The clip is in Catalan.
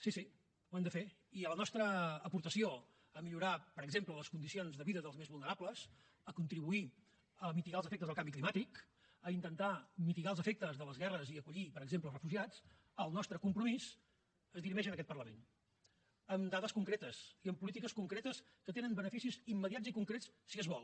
sí sí ho hem de fer i la nostra aportació a millorar per exemple les condicions de vida dels més vulnerables a contribuir a mitigar els efectes del canvi climàtic a intentar mitigar els efectes de les guerres i acollir per exemple refugiats el nostre compromís es dirimeix en aquest parlament amb dades concretes i amb polítiques concretes que tenen beneficis immediats i concrets si es vol